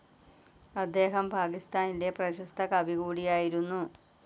അദ്ദേഹം പാകിസ്ഥാനിലെ പ്രശസ്ത കവി കൂടിയായിരുന്നു.